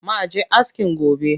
Ma je askin gobe